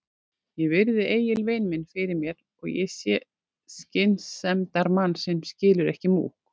Ég virði Egil vin minn fyrir mér og ég sé skynsemdarmann sem skilur ekki múkk.